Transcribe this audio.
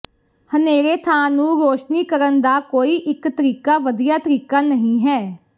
ਹਨੇਰੇ ਥਾਂ ਨੂੰ ਰੋਸ਼ਨੀ ਕਰਨ ਦਾ ਕੋਈ ਇੱਕ ਤਰੀਕਾ ਵਧੀਆ ਤਰੀਕਾ ਨਹੀਂ ਹੈ